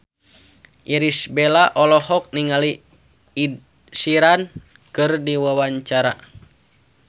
Irish Bella olohok ningali Ed Sheeran keur diwawancara